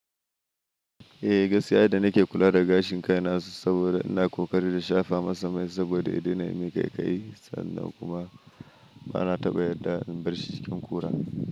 Eh, gaskiya da nake kula da gashin kai na saboda ina ƙoƙari da shafa masa mai saboda ya daina yin ƙaiƙayi sannan kuma bana taɓa yarda in bar shi cikin kura.